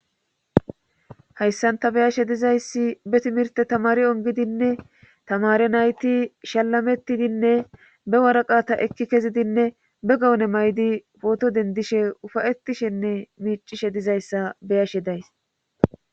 hayssan ta be7ashe dizayssi be timirtte tamaari onggidinne tamaare nayti shallamettidinne be woraqata ekki kezidinne be gawune mayidi pooto denddishe ufa7ettishenne miiccishe dizayssa be7ashe days.